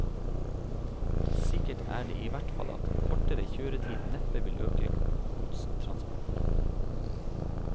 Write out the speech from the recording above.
Sikkert er det i hvert fall at kortere kjøretid neppe vil øke godstransportene.